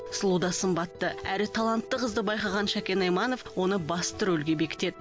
сұлу да сымбатты әрі талантты қызды байқаған шәкен айманов оны басты рөлге бекітеді